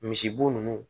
Misibo ninnu